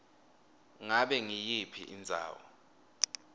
ngabe nguyiphi indzawo